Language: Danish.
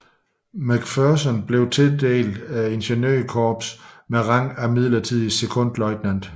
McPherson blev tildelt ingeniørkorpset med rang som midlertidig sekondløjtnant